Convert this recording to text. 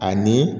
Ani